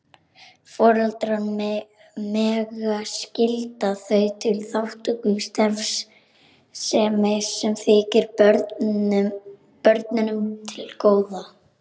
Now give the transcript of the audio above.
Foreldrar mega skylda þau til þátttöku í starfsemi sem þykir börnunum til góða.